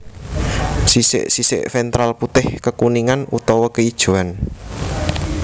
Sisik sisik ventral putih kekuningan utawa keijoan